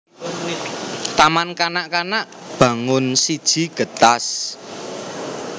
Taman Kanak kanak Bangun siji Getas